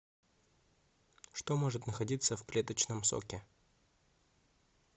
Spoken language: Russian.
что может находиться в клеточном соке